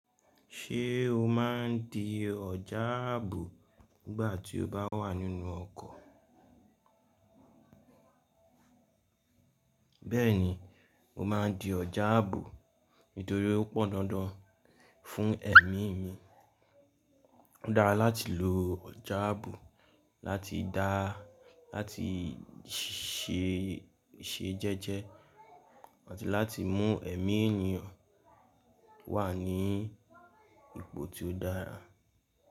Ṣé o má ń di ọjà ààbò nígbà tí o bá wà nínú ọkọ̀? Bẹ́ẹ̀ni, mo má ń di ọjà àbò nítorí ó pọ̀ndandan fún ẹ̀mí mi. Ó dára láti lo ọjà àbò láti dá láti ṣẹ jẹ́jẹ́ àti láti mú ẹ̀mí ènìyàn wà ní ipò tí ó dára.